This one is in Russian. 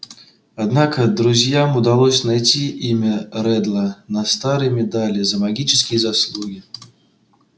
однако друзьям удалось найти имя реддла на старой медали за магические заслуги